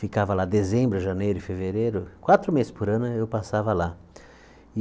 Ficava lá dezembro, janeiro e fevereiro, quatro meses por ano eu passava lá.